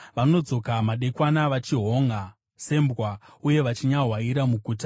Vanodzoka madekwana, vachihonʼa sembwa, uye vachinyahwaira muguta.